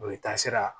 O ye taasira